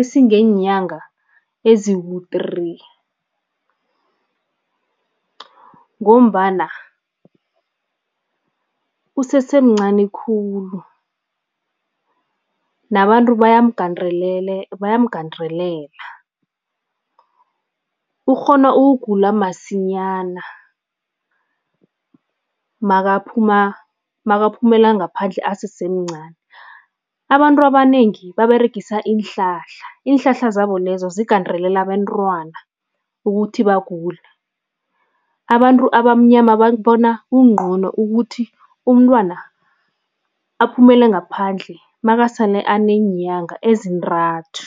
esingeenyanga eziku three ngombana usesemncani khulu nabantu bayamgandelela, ukghona ukugula masinyana makaphuma makaphumela ngaphandle asesemncani. Abantu abanengi baberegisa iinhlahla, iinhlahla zabo lezo zigandelela abentwana ukuthi bagule. Abantu abamnyama babona kungcono ukuthi umntwana aphumela ngaphandle makasele aneenyanga ezintathu.